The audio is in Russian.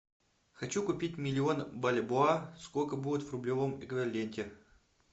хочу купить миллион бальбоа сколько будет в рублевом эквиваленте